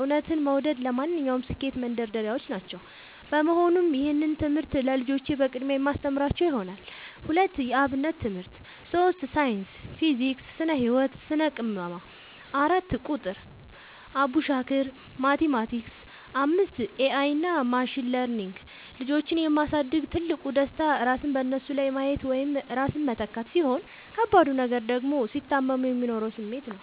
እውነትን መውደድ ለማንኛውም ስኬት መንደርደሪያዎች ናቸው። በመሆኑም ይህንን ትምህርት ለልጆቼ በቅድሚያ የማስተምራቸው ይሆናል። 2. የ አብነት ትምህርት 3. ሳይንስ (ፊዚክስ፣ ስነ - ህወት፣ ስነ - ቅመማ) 4. ቁጥር ( አቡሻኽር፣ ማቲማቲክስ ...) 5. ኤ አይ እና ማሽን ለርኒንግ ልጆችን የ ማሳደግ ትልቁ ደስታ ራስን በነሱ ላይ ማየት ወይም ራስን መተካት፣ ሲሆን ከባዱ ነገር ደግሞ ሲታመሙ የሚኖረው ስሜት ነው።